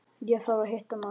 Ég þarf að hitta mann.